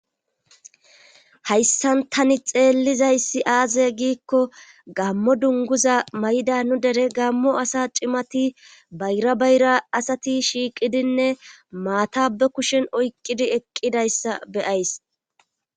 hayssan tani xeellizayssi aaze giikko gammo dunguza may7da nu dere gammo asa cimati bayra bayra asati shiiqidinne maata be kushen oyqqidi eqqidayssa beyays